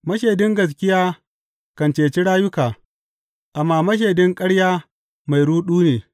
Mashaidin gaskiya kan ceci rayuka, amma mashaidin ƙarya mai ruɗu ne.